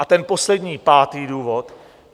A ten poslední, pátý důvod.